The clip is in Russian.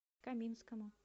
каминскому